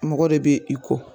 Mɔgɔ de bɛ i ko